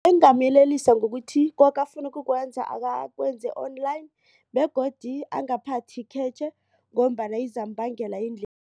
Bengingamyelelisa ngokuthi koke afuna ukukwenza akakwenze online begodu angaphathi ikhetjhe ngombana izambangela